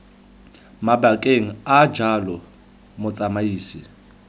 mabakeng a a jalo motsamaisi